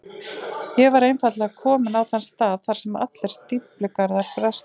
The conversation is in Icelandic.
Ég var einfaldlega kominn á þann stað þar sem allir stíflugarðar bresta.